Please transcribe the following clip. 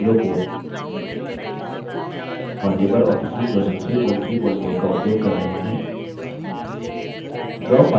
का उपयोग कर रहे हैं